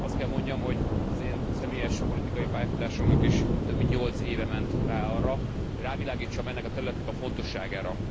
Azt kell mondjam, hogy az én személyes politikai pályafutásomnak is több, mint nyolc éve ment rá arra, hogy rávilágítsak ennek a területnek a fontosságára.